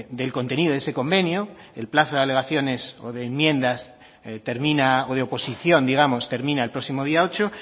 del contenido de ese convenio el plazo de alegaciones o de enmiendas termina o de oposición digamos termina el próximo día ocho